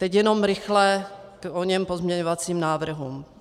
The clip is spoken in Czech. Teď jenom rychle k oněm pozměňovacím návrhům.